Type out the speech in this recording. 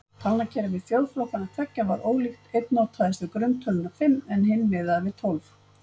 Talnakerfi þjóðflokkanna tveggja var ólíkt, einn notaðist við grunntöluna fimm en hinn miðaði við tólf.